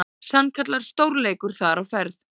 Sannkallaður stórleikur þar á ferð.